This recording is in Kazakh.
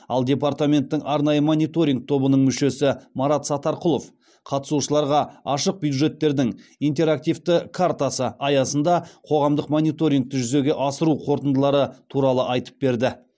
ал департаменттің арнайы мониторинг тобының мүшесі марат сатарқұлов қатысушыларға ашық бюджеттердің интерактивті картасы аясында қоғамдық мониторингті жүзеге асыру қорытындылары туралы айтып берді